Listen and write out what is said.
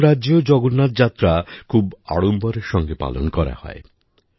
অন্যান্য রাজ্যেও জগন্নাথ যাত্রা খুব আড়ম্বরের সঙ্গে পালন করা হয়